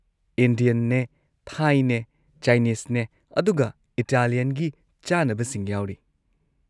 ꯏꯟꯗꯤꯌꯟꯅꯦ, ꯊꯥꯏꯅꯦ, ꯆꯥꯏꯅꯤꯁꯅꯦ ꯑꯗꯨꯒ ꯏꯇꯥꯂꯤꯌꯥꯟꯒꯤ ꯆꯥꯅꯕꯁꯤꯡ ꯌꯥꯎꯔꯤ꯫